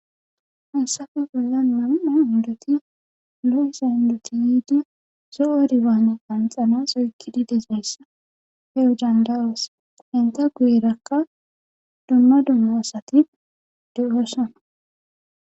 Hassafe bolla mam7a undoti lu7isa indoti yiidi zo7o dibaane qanxanasoykkidi dezeyssa heu dandawoos henta guyerakka dumma dumma asati de7oosana.